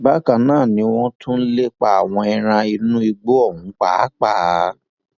bákan náà ni wọn tún lè pa àwọn ẹran inú igbó ọhún pàápàá